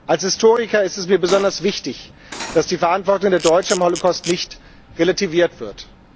Als Historiker ist es mir besonders wichtig, dass die Verantwortung der Deutschen am Holocaust nicht relativiert wird.